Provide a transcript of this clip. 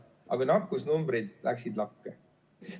Aga nakkusnumbrid läksid lakke.